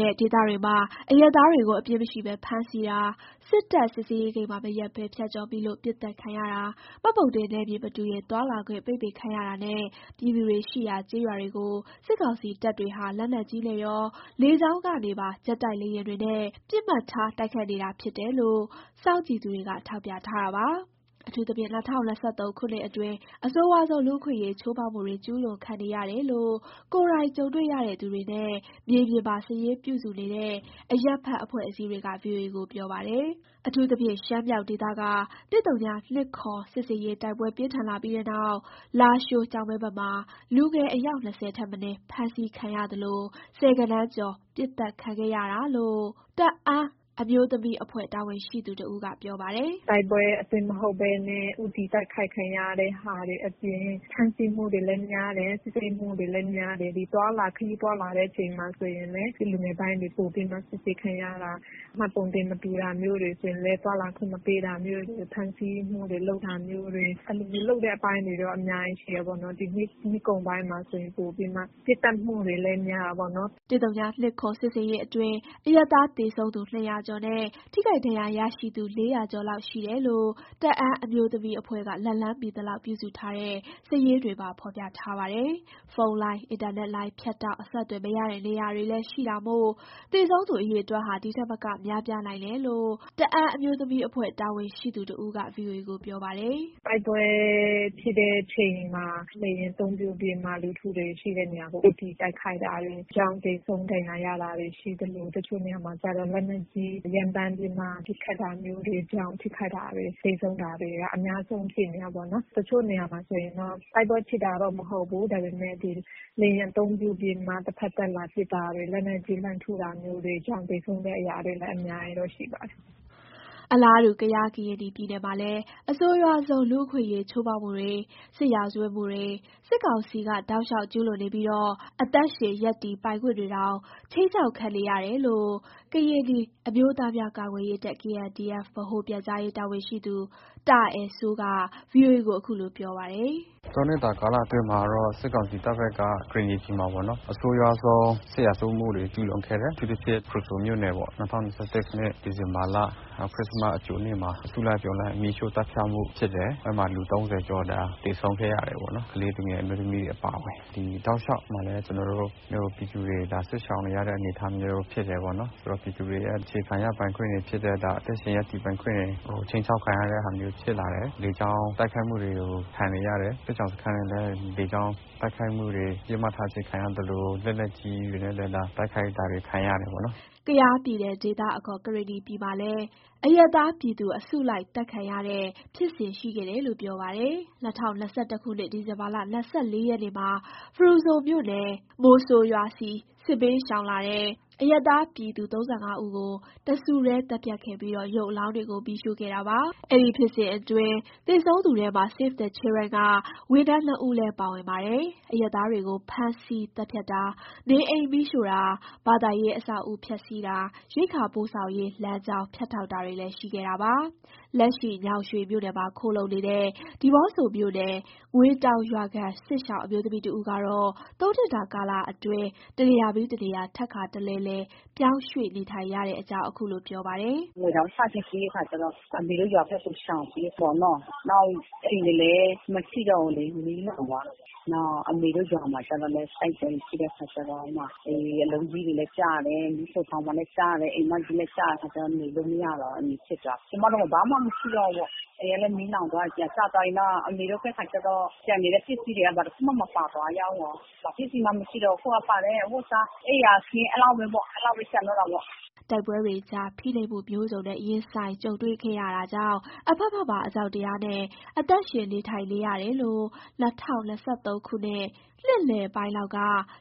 တဲ့ဒေသတွေမှာ အရပ်သားတွေကို အပြစ်မရှိပဲ ဖမ်းဆီးတာ၊ စစ်တပ် စစ်ဆေးဂိတ်မှာ မရပ်ဘဲဖြတ်ကျော်မိလို့ ပစ်သတ်ခံရတာ၊ မှတ်ပုံတင်နယ်မြေမတူရင် သွားလာခွင့်ပိတ်ပင်ခံရတာနဲ့ ပြည်သူတွေရှိရာ ကျေးရွာတွေကို စစ်ကောင်စီတပ်တွေဟာ လက်နက်ကြီးနဲ့ရော လေကြောင်းကနေပါ ဂျက်တိုက်လေယာဥ်တွေနဲ့ ပစ်မှတ်ထား တိုက်ခိုက်နေတာကြောင်း စောင့်ကြည့်သူတွေက ထောက်ပြထားတာပါ။ အထူးသဖြင့် ၂၀၂၃ ခုနှစ်အတွင်း အဆိုးဝါးဆုံး လူ့အခွင့်အရေးချိုးမှုတွေ ကျူးလွန်ခံနေတယ်လို့ ကိုယ်တိုင်ကြုံတွေ့ရတဲ့သူတွေနဲ့ မြေပြင်မှာ စာရင်းပြုစုနေတဲ့ အရပ်ဘက်အဖွဲ့အစည်းတွေက ဗွီအိုအေကို ပြောပါတယ်။ အထူးသဖြင့် ရှမ်းမြောက်ဒေသက ၁၀၂၇ စစ်ဆင်ရေး တိုက်ပွဲပြင်းထန်လာပြီးတဲ့နောက် လာရှိုး၊ ကျောက်မဲဘက်မှာ လူငယ်အယောက် ၂၀ ထက်မနည်း ဖမ်းဆီးခံရသလို ဆယ်ဂဏန်းကျော် ပစ်သတ်ခံခဲ့ရတာလို့ တအာင်းအမျိုးသမီးအဖွဲ့ တာဝန်ရှိသူတဦးက ပြောပါတယ်။ “တိုက်ပွဲအတွင်းမှာမဟုတ်ဘဲနဲ့ ဦးတည်တိုက်ခိုက်ခံရတဲ့ဟာတွေ အပြင် ဖမ်းဆီးမှုတွေ များတယ်။ စစ်ဆေးမှုတွေလည်း များတယ်။ ဒီသွားလာ ခရီးသွားလာတဲ့အချိန်မှာဆိုရင်လည်း လူငယ်ပိုင်းတွေ ပိုပြီးမှစစ်ဆေးခံရတာ၊ မှတ်ပုံတင်မတူတာမျိုးတွေဆိုရင်လည်း သွားလာခွင့်မပေးတာမျိုးတွေ ဖမ်းဆီးမှုတွေ လုပ်တာမျိုးတွေ အဲ့လိုမျိုးလုပ်တဲ့အပိုင်းတွေ အများကြီးရှိတယ်ပေါ့နော်။ ဒီနှစ် နှစ်ကုန်ပိုင်မှာဆိုရင် ပိုပြီးမှ ပစ်သတ်မှုလည်း များတယ်ပေါ့နော်။” ၁၀၂၇ စစ်ဆင်ရေး အတွင်း အရပ်သား သေဆုံးသူ ၂၀၀ ကျော်နဲ့ ထိခိုက်ဒဏ်ရာရရှိသူ ၄၀၀ ကျော်လောက်ရှိတယ်လို့ တအာင်းအမျိုးသမီးအဖွဲ့က လက်လှမ်းမီသလောက်ပြုစုထားတဲ့ စာရင်းတွေမှာဖေါ်ပြထားပါတယ်။ ဖုန်းလိုင်း အင်တာနက်လိုင်းဖြတ်တောက် အဆက်အသွယ်မရတဲ့နေရာလည်းရှိတာမို့ သေဆုံးသူအရေအတွက်ဟာ ဒီထက်မက များပြားနိုင်တယ်လို့ တအန်းအမျိုးသမီးအဖွဲ့ တာဝန်ရှိသူတဦးက ဗွီအိုအေကို ပြောပါတယ်။ “ တိုက်ပွဲဖြစ်တဲ့အချိန်မှာ လေယာဉ်အသုံးပြုပြီးမှ လူထုတွေ ရှိတဲ့နေရာကို ဦးတည်တိုက်ခိုက်တာတွေကြောင့် သေဆုံးဒဏ်ရာရလာတာရှိသလို တချို့နေရာမှာကျတော့ လက်နက်ကြီး ရမ်းသမ်းပြီးမှ ပစ်ခတ်တာမျိုးကြောင့် ထိခိုက်တာ သေဆုံးတာတွေ အများဆုံးဖြစ်နေတာပေါ့နော်။ တချို့နေရာမှာဆိုရင်တော့ တိုက်ပွဲဖြစ်တာတော့ မဟုတ်ဘူး ဒါပေမယ့် ဒီလေယာဉ်အသုံးပြုပြီးမှ တဖက်သက်လာပစ်တာတွေ လက်နက်ကြီးလှမ်းထုတာမျိုးတွေကြောင့် သေဆုံးအရာတွေလည်း အများကြီးတော့ရှိပါတယ်။” အလားတူ ကယား ပြည်နယ်မှာလည်း အဆိုးရွားဆုံး လူ့အခွင့်အရေးချိုးဖောက်မှုတွေ စစ်ရာဇဝတ်မှုတွေ စစ်ကောင်စီက တောက်လျှောက်ကျူးလွန်နေပြီး အသက်ရှင် ရပ်တည်ပိုင်ခွင့်တွေတောင် ခြိမ်းခြောက်ခံနေရတယ်လို့ ကရင်နီအမျိုးသားများကာကွယ်ရေးတပ် ဗဟိုပြန်ကြားရေးတာဝန်ရှိသူ တာအယ်စိုးက ဗွီအိုအေကို ခုလို ပြောပါတယ်။ “ ၃ နှစ်တာ ကာလအတွင်းမှာတော့ စစ်ကောင်စီတပ်ဘက်က ကရင်နီပြည်မှာပေါ့နော် အဆိုးရွားဆုံး စစ်ရာဇဝတ်မှုတွေ ကျူးလွန်ခဲ့တယ်။ အထူးသဖြင့် ဖရူဆိုမြို့နယ်ပေါ့ ၂၀၂၁ ခုနှစ် ဒီဇင်ဘာလ ခရစ္စမတ်အကြိုနေ့မှာ အစုလိုက်အပြုံလိုက် မီးရှို့သတ်ဖြတ်မှုဖြစ်တယ်။ အဲ့မှာ လူ ၃၀ ကျော်သေဆုံးခဲ့ရတယ်ပေါ့နော်။ ကလေးသူငယ် အမျိုးသမီးတွေ အပါအဝင်။ ဒီတောက်လျှောက်မှာလည်း ကျနော်တို့ ပြည်သူတွေ စစ်ရှောင်နေရတဲ့ အနေအထားမျိုးဖြစ်တယ်ပေါ့နော်။ ဆိုတော့ ပြည်သူတွေရဲ့ အခြေခံရပိုင်ခွင့်တွေဖြစ်တဲ့ အသက်ရှင်ရပ်တည်ပိုင်းခွင့်တွေ ခြိမ်းခြောက်ခံရတဲ့ဟာမျိုးဖြစ်လာတယ်။ လေကြောင်းတိုက်ခိုက်မှုတွေ ခံနေရတယ်။ စစ်ရှောင်စခန်းတွေလည်း လေကြောင်းတိုက်ခံမှုတွေ ပစ်မှတ်ထားခြင်းခံရသလို လက်နက်ကြီးတွေနဲ့ တိုက်ခိုက်တာတွေ ခံရတယ်ပေါ့နော်။” ကယားပြည်နယ် ဒေသအခေါ် ကရင်နီပြည်မှာလည်း အရပ်သားပြည်သူ အစုလိုက်သတ်ခံရတဲ့ ဖြစ်စဉ်ရှိခဲ့တယ်လို့ ပြောပါတယ်။ ၂၀၂၁ခုနှစ် ဒီဇင်ဘာ ၂၄ ရက်နေ့မှာ ဖရူဆိုမြို့နယ်၊ မိုဆိုရွာဆီ စစ်ဘေးရှောင်လာတဲ့ အရပ်သားပြည်သူ ၃၅ ဦးကို တစုတည်း သတ်ဖြတ်ခဲ့ပြီး ရုပ်အလောင်းတွေကို မီးရှို့ခဲ့တာပါ။ အဲဒီဖြစ်စဉ်အတွင်း သေဆုံးသူထဲမှာ Save The Children က ဝန်ထမ်း ၂ ဦးလည်း ပါဝင်ပါတယ်။ အရပ်သားတွေကို ဖမ်းဆီးသတ်ဖြတ်တာ၊ နေအိမ် မီးရှို့တာ၊ ဘာသာရေးအဆောက်အဦးဖျက်စီးတာ၊ ရိက္ခာပို့ဆောင်ရေး လမ်းကြောင်းဖြတ်တောက်တာတွေလည်း ရှိခဲ့တာပါ။ လက်ရှိ ညောင်ရွှေမြို့နယ်မှာ ခိုလှုံနေတဲ့ ဒီးမော့ဆိုမြို့နယ် ငွေတောင်ရွာခံစစ်ရှောင် အမျိုးသမီးတဦးကတော့ ၃နှစ်တာကာလအတွင်း တနေရာပြီး တနေရာ ထပ်ခါတလဲလဲ ပြောင်းရွှေ့နေထိုင်နေရတဲ့အကြောင်း အခုလိုပြောပါတယ်။ “ငွေတောင် စပျက်စီးတဲ့အခါကျတော့ အမေတို့ရွာဘက်ကို ရှောင်ပြေးသွားတယ်ပေါ့နော်။ နောက် ကျမတို့ အိမ်တွေလည်း မရှိတော့ဘူးလေ မီးလောင်သွားတယ်ပေါ့။ နောက် အမေတို့ရွာမှာကျတော့လည်း တိုက်ပွဲတွေ ရှိလာတော့ အလုံးကြီးတွေလည်း ကျတယ်၊ မီးဖိုချောင်မှာလည်းကျတယ်၊ အိမ်မကြီးလည်းကျတဲ့အခါတော့ နေလို့မရတော့ဘူး အဲ့လိုမျိုးဖြစ်သွားတာ။ ကျမတို့မှာ ဘာမှမရှိတော့ဘူးပေါ့။ အိမ်ကလည်း မီးလောင်သွားပြီး ပြာကျသွားပြီး။ နောက်အမေတို့ဖက်က ကျန်နေတဲ့ ပစ္စည်းတွေက ဘာတခုမှမပါသွားဘူး၊ ဘာမှပစ္စည်းမှမရှိတော့ဘူး။ အခုက ပါလာတဲ့ အဝတ်အစာ အိပ်ယာခင်း အဲ့လောက်ပဲပေါ့ အဲ့လောက်ပဲကျန်တော့တာပေါ့။” တိုက်ပွဲတွေကြား ဖိနှိပ်မှုမျိုးစုံနဲ့ ရင်ဆိုင်ကြုံတွေ့ခဲ့ရတာကြောင့် အဖက်ဖက်မှာ အကြောက်တရားနဲ့ အသက်ရှင်နေထိုင်နေရတယ်လို့ ၂၀၂၃ ခုနှစ် နှစ်လယ်ပိုင်းလောက်က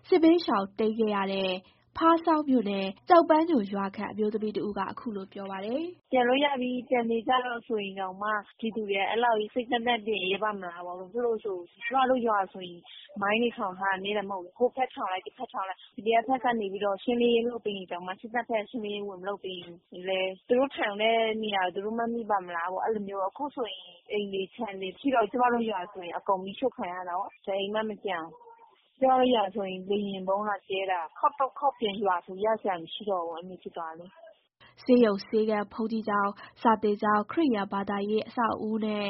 စစ်ဘေးရှောင်တိမ်းခဲ့ရတဲ့ ဖားဆောင်းမြို့နယ် ကျောက်ပန်းညိုရွာခံအမျိုးသမီးတဦးက ခုလို ပြောပါတယ်။ “ပြန်လို့ရပြီး ပြန်နေကြတော့ဆိုရင်တောင်မှ ပြည်သူတွေက အဲ့လောက်ကြီး စိတ်သန့်သန့်နဲ့နေရဲပါ့မလားပေါ့။ ဘာဖြစ်လို့ဆို ကျမတို့ ရွာဆိုရင် မိုင်းတွေ ထောင်ထားတယ် နည်းတာမဟုတ်ဘူးလေ၊ ဟိုဘက်ထောင်လိုက် ဒီဘက်ထောင်လိုက်၊ PDF ဖက်ကနေပြီးတော့ ရှင်းလင်းရေးလုပ်ပေးရင်တောင်မှ စစ်တပ်ဖက် ရှင်းလင်းရေးဝင်မလုပ်ပေးရင်လည်း သူတို့ထောင်တဲ့နေရာကို သူတို့မှန်မိပါ့မလားပေါ့ အဲ့လိုမျိုးပေါ့။ အခုဆိုရင် အိမ်တွေ ခြံတွေ မရှိတော့ဘူး။ ကျမတို့ ရွာဆို အကုန်မီးရှို့ခံရတာရော၊ တအိမ်မှမကျန်ဘူး။ ကျမတို့ရွာဆိုရင် လေယာဉ်ဗုံးလာကြဲတာ ခေါက်တုတ်ခေါက်ပြန် ရွာဆို ရစရာမရှိတော့ဘူးပေါ့ အဲ့လိုမျိုးဖြစ်သွားတယ်လေ။” ဆေးရုံ၊ ဆေးခန်း၊ ဘုန်ကြီးကျောင်း၊ စာသင်ကျောင်း၊ ခရစ်ယာန်ဘာသာရေးအဆောက်အဦးနဲ့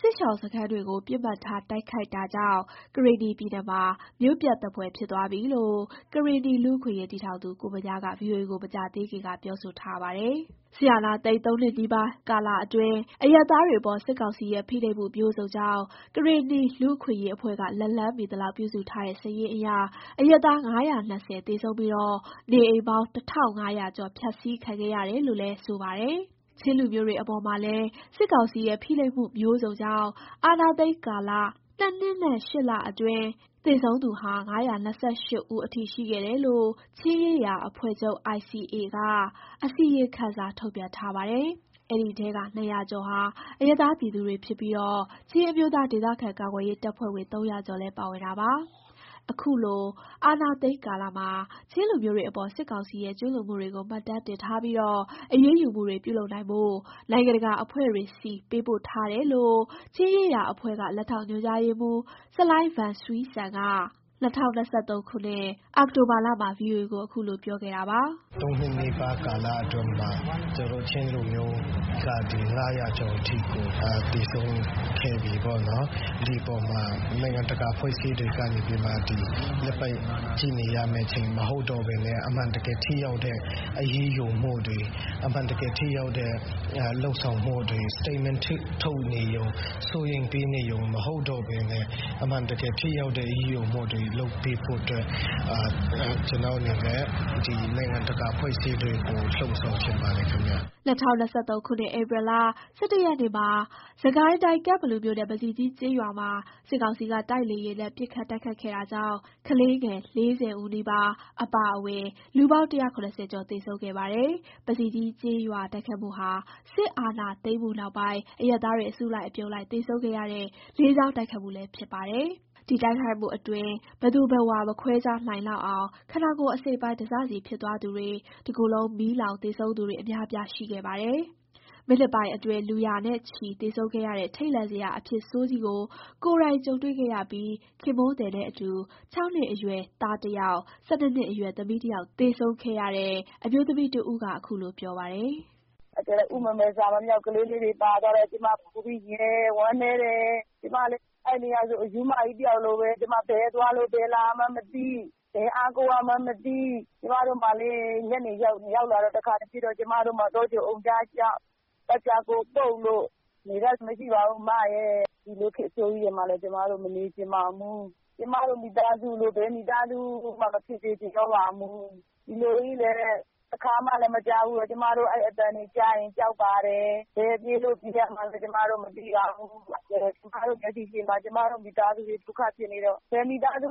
စစ်ရှောင်စခန်းတွေကို ပစ်မှတ်ထားတိုက်ခိုက်တာကြောင့် ကရင်နီပြည်နယ်မှာ မြို့ပျက်သဖွယ်ဖြစ်သွားပြီလို့ ကရင်နီလူ့အခွင့်အရေးတည်ထောင်သူ ကိုဗညားက ဗွီအိုအေကို မကြာသေးခင်က ပြောဆိုထားပါတယ်။ စစ်အာဏာသိမ်း ၃နှစ်နီးပါးကာလအတွင်း အရပ်သားတွေအပေါ် စစ်ကောင်စီရဲ့ ဖိနှိပ်မှုမျိုးစုံကြောင့် ကရင်နီလူ့အခွင့်အရေးအဖွဲ့က လက်လှမ်းမှီသလောက်ပြုစုထားတဲ့ စာရင်းအရ အရပ်သား ၅၂၀ သေဆုံးပြီး နေအိမ်ပေါင်း ၁၅၀၀ ကျော် ဖျက်ဆီးခံခဲ့ရတယ်လို့ လည်း ဆိုပါတယ်။ ချင်းလူမျိုးတွေအပေါ်မှာလည်း စစ်ကောင်စီရဲ့ ဖိနှိပ်မှုမျိုးစုံကြောင့် အာဏာသိမ်းကာလ ၂ နှစ်နဲ့ ၈ လအတွင်း သေဆုံးသူဟာ ၅၂၈ ဦးအထိ ရှိခဲ့တယ်လို့ ချင်းရေးရာအဖွဲ့ချုပ် ICA က အစီရင်ခံစာ ထုတ်ပြန်ထားပါတယ်။ အဲဒီထဲက ၂၀၀ ကျော်ဟာ အရပ်သားပြည်သူတွေ ဖြစ်ပြီး ချင်းအမျိုးသား ဒေသခံကာကွယ်ရေး တပ်ဖွဲ့ဝင် ၃၀၀ ကျော်လည်း ပါဝင်ပါတယ်။ အခုလို အာဏာသိမ်းကာလမှာ ချင်းလူမျိုးတွေအပေါ် စစ်ကောင်စီရဲ့ ကျူးလွန်မှုတွေကို မှတ်တမ်းတင်ထားပြီး အရေးယူမှုတွေ ပြုလုပ်နိုင်ဖို့ နိုင်ငံတကာအဖွဲ့တွေဆီ ပေးပို့ထားတယ်လို့ ချင်းရေးရာအဖွဲ့ချုပ်က လက်ထောက်ညွှန်ကြားရေးမှူး ဆလိုင်းဗန်ဆွီးဆန်က ၂၀၂၃ ခုနှစ် အောက်တိုဘာလမှာ ဗွီအိုအေကို အခုလို ပြောခဲ့ပါတယ်။ "၂ နှစ်ကျော်၊ ၃ နှစ်နီးပါး ကာလအတွင်းမှာ ကျနော်တို့ ချင်းလူမျိုးက ၅၀၀ ကျော်အထိ သေဆုံးခဲ့ပြီ။ ဒီအပေါ်မှာ နိုင်ငံတကာ အဖွဲ့အစည်းတွေက လက်ပိုက်ကြည့်နေရမယ့် အချိန်မဟုတ်တော့ဘဲ အမှန်တကယ် ထိရောက်တဲ့ အရေးယူမှုတွေ၊ လုပ်ဆောင်မှုတွေ၊ Statement ထုတ်နေရုံ၊ စိုးရိမ်ပေးနေရုံမဟုတ်တော့ဘဲနဲ့ အမှန်တကယ် ထိရောက်တဲ့ အရေးယူမှုတွေလုပ်ပေးဖို့ နိုင်ငံတကာ အဖွဲ့အစည်းတွေကို လှုံ့ဆော်ချင်ပါတယ် ခင်ဗျ။" ၂၀၂၃ ဧပြီလ ၁၁ ရက်နေ့မှာ စစ်ကိုင်းတိုင်း၊ ကန့်ဘလူမြို့နယ်၊ ပဇီကြီးကျေးရွာမှာ စစ်ကောင်စီက တိုက်လေယာဥ်နဲ့ ပစ်ခတ်တိုက်ခိုက်တာကြောင့် ကလေးငယ် ၄၀ နီးပါး အပါအဝင် လူပေါင်း ၁၇၀ ကျော် သေဆုံးခဲ့ပါတယ်။ ပဇီကြီးကျေးရွာ တိုက်ခိုက်မှုဟာ စစ်အာဏာသိမ်းမှုနောက်ပိုင်း အရပ်သားတွေ အစုလိုက်အပြုံလိုက် သေဆုံးခဲ့ရတဲ့ လေကြောင်း တိုက်ခိုက်မှုလည်း ဖြစ်တာပါ။ ဒီတိုက်ခိုက်မှုအတွင်း ဘယ်သူဘယ်ဝါ မခွဲခြားနိုင်လောက်အောင် ခန္ဓာကိုယ်အစိတ်အပိုင်း တစစီ ဖြစ်သွားသူတွေ၊ တကိုယ်လုံး မီးလောင် သေဆုံးသူတွေ အများအပြား ရှိခဲ့ပါတယ်။ မိနစ်ပိုင်းအတွင်း လူရာနဲ့ချီ သေဆုံးခဲ့ရတဲ့ ထိတ်လန့်စရာ အဖြစ်ဆိုးကြီးကို ကိုယ်တိုင် ကြုံတွေ့ခဲ့ရပြီး ခင်ပွန်းသည်နဲ့အတူ ၆နှစ်အရွယ်သားတစ်ယောက်၊ ၁၂ နှစ်အရွယ် သမီးတစ်ယောက် သေဆုံးခဲ့ရတဲ့ အမျိုးသမီးတဦးက ခုလို ပြောပြပါတယ်။ “ဥမမယ် စာမမြောက် ကလေးလေးတွေ ပါသွားတော့ ကျမ ပိုပြီး ရင်နာတယ်။ ဝမ်းနည်းတယ်။ ကျမလေ အဲ့ဒီနေ့ကဆို အရူးမကြီး တယောက်လိုပဲ။ ဘယ်သွားလို့ ဘယ်လာရမှန်းမသိ။ ဘယ်အားကိုးရမှန်းမသိ။ ကျမတို့မှာလေ ညနေရောက်လာတော့ တခါ ပြန်ပစ်တော့ ကျမတို့မှာ တောကြိုအုံကြားလျှောက်။ နေတတ်စရာလည်း မရှိပါဘူး။ ဒီလို အဖြစ်ဆိုးကြီးထဲမှာလည်း ကျမတို့ မနေချင်ပါဘူး။ ကျမတို့ မိသားစုလို ဘယ်မိသားစုမှ မဖြစ်စေချင်တော့ပါဘူး။ ဒီလိုကြီးလည်း တခါမှမကြားဖူးတော့ ကျမတို့ အဲ့အသံတွေ ကြားရင် ကြောက်ပါတယ်။ ဘယ်ပြေးလို့ ပြေးရမှန်းလည်း ကျမတို့ မသိပါဘူး။ ကျမတို့ မျက်စိရှေ့မှာ မိသားစုတွေ ဒုက္ခဖြစ်နေတော့ ဘယ်မိသားစု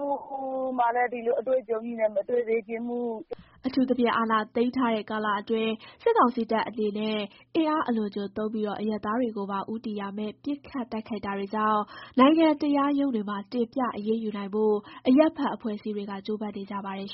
မှလည်း ဒီလို အတွေ့အကြုံကြီးနဲ့ မတွေ့စေချင်ဘူး။” အထူးသဖြင့် အာဏာသိမ်းထားတဲ့ ကာလအတွင်း စစ်ကောင်စီတပ်အနေနဲ့ အင်အားအလွန်အကျွံသုံးပြီး အရပ်သားတွေကိုပါ ဦးတည်ရာမဲ့ ပစ်ခတ်တိုက်ခိုက်တာတွေကြောင့် နိုင်ငံတရားရုံးတွေမှာ တင်ပြ အရေးယူနိုင်ဖို့အရပ်ဘက်အဖွဲ့အစည်းတွေက ကြိုးပမ်းနေကြပါတယ်